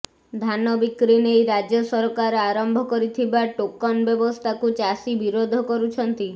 ଧାନ ବିକ୍ରି ନେଇ ରାଜ୍ୟ ସରକାର ଆରମ୍ଭ କରିଥିବା ଟୋକନ୍ ବ୍ୟବସ୍ଥାକୁ ଚାଷୀ ବିରୋଧ କରୁଛନ୍ତି